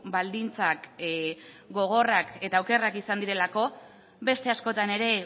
baldintzak gogorrak eta okerrak izan direlako beste askotan ere